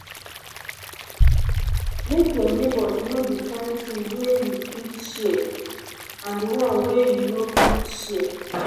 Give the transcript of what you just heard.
make your neighbors know di kind things wey you fit share and di one wey you no fit share